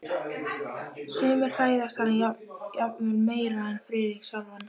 Sumir hræðast hana jafnvel meira en Friðrik sjálfan.